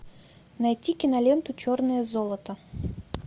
найти киноленту черное золото